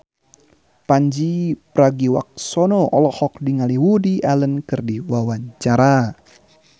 Pandji Pragiwaksono olohok ningali Woody Allen keur diwawancara